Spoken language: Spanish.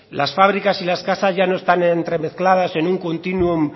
las fábricas y las casas ya no están entremezcladas en un continuo